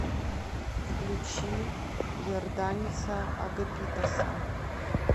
включи йорданиса агапитоса